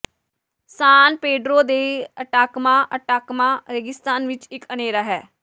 ਸਾਨ Pedro de Atacama Atacama ਰੇਗਿਸਤਾਨ ਵਿਚ ਇਕ ਅਨ੍ਹੇਰਾ ਹੈ